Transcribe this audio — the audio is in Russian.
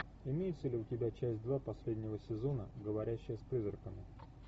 имеется ли у тебя часть два последнего сезона говорящая с призраками